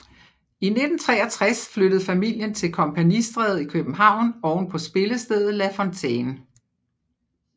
I 1963 flyttede familien til Kompagnistræde i København ovenpå spillestedet La Fontaine